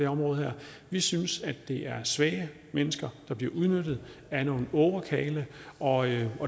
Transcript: område vi synes at det er svage mennesker der bliver udnyttet af nogle ågerkarle og